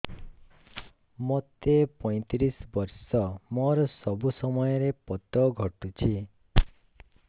ମୋତେ ପଇଂତିରିଶ ବର୍ଷ ମୋର ସବୁ ସମୟରେ ପତ ଘଟୁଛି